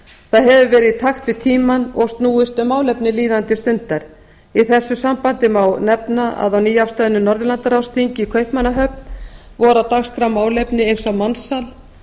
það hefur verið í takt við tímann og snúist um málefni líðandi stundar í þessu sambandi má nefna að á nýafstöðnu norðurlandaráðsþingi í kaupmannahöfn voru á dagskrá málefni eins og mansal